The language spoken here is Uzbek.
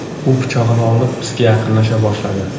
U pichog‘ini olib, bizga yaqinlasha boshladi.